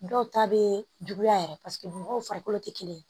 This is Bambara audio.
Dɔw ta bɛ juguya yɛrɛ paseke mɔgɔw farikolo tɛ kelen ye